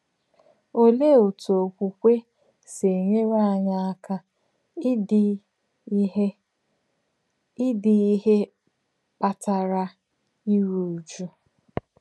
Òlèé òtú òkwùkwè sì enyèrè ányị̀ àkà ìdí ìhè ìdí ìhè kpàtàrà ìrù ùjụ̀?